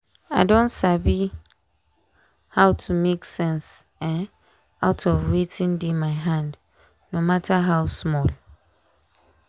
i don sabi how to make sense um out of wetin dey my hand no matter how small.